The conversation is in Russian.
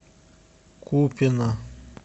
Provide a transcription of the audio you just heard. купино